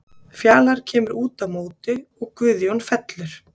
Fjalar kemur út á móti og Guðjón fellur.